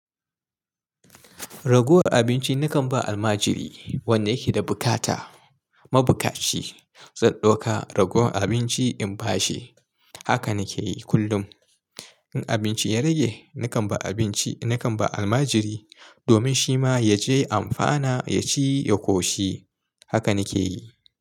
Raguwar abinci nakan ba almajiri wanda yake da bukata, mabukaci. Zan ɗauka ragowar abinci in ba shi. Haka nike yi kullum. In abinci ya rage nakan ba abinci, nakan ba almajiri domin shi ma ya je amfana, ya ci, ya koshi. Haka nike yi.